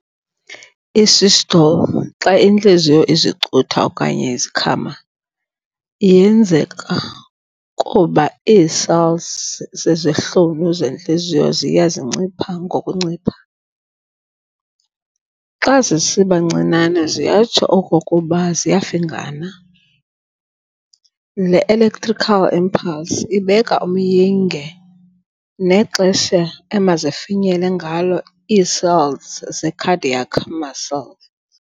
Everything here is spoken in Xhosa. I-Systole, xa intliziyo izicutha okanye izikhama, yenzeka kuba ii-cells zezihlunu zentliziyo ziya zincipha ngokuncipha. xa zisiba ncinane siyatsho okokuba ziyafingana. Le electrical impulse ibeka umyinge nexesha emazifinyele ngalo ii-cells ze-cardiac muscle.